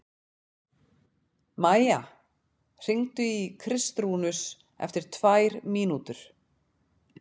Maía, hringdu í Kristrúnus eftir tvær mínútur.